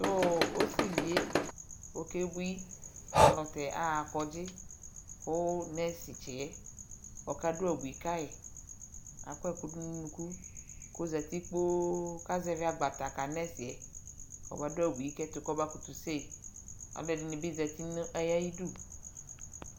tʋ ɔsiviɛ ɔkɛ bʋi alʋtɛ aha kɔdzi kʋ nurse tsiɛ ɔka dʋ abʋi kayi kʋ akɔ ɛkʋ dʋnʋ ʋnʋkʋ kʋ ɔzati kpɔɔ kʋ azɛvi agba ka nurseɛ kʋ ɔba dʋ abʋi kʋ ɛtʋ kɔba kʋtʋ sèi, alʋɛdini bi zati nʋ ayidʋ.